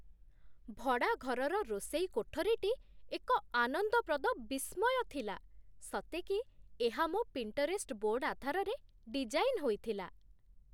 ଭଡ଼ାଘରର ରୋଷେଇ କୋଠରୀଟି ଏକ ଆନନ୍ଦପ୍ରଦ ବିସ୍ମୟ ଥିଲା, ସତେକି ଏହା ମୋ 'ପିଣ୍ଟରେଷ୍ଟ ବୋର୍ଡ' ଆଧାରରେ ଡିଜାଇନ୍ ହୋଇଥିଲା!